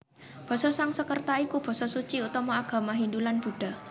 Basa Sangsekerta iku basa suci utama agama Hindu lan Buddha